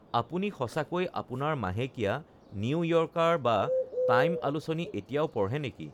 আপুনি সঁচাকৈয়ে আপোনাৰ মাহেকীয়া নিউ য়ৰ্কাৰ বা টাইম আলোচনী এতিয়াও পঢ়ে নেকি?